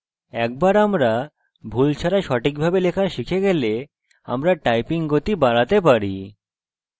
একবার আমরা ভুল ছাড়া সঠিকভাবে লেখা শিখে গেলে আমরা typing গতি বাড়াতে পারি